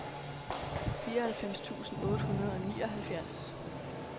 fireoghalvfems tusind otte hundrede og nioghalvfjerds